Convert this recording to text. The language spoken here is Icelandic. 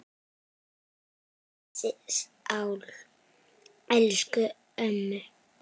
Guð blessi sál elsku ömmu.